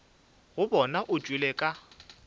go bona o tšwele ka